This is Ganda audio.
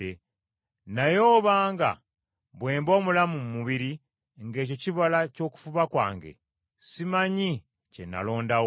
Naye obanga bwe mba omulamu mu mubiri ng’ekyo kibala ky’okufuba kwange, simanyi kye nnaalondawo.